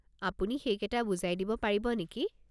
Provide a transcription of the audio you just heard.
আপুনি সেইকেইটা বুজাই দিব পাৰিব নেকি?